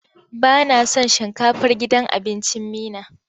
Ba na son shinkafar gidan abincin Meena.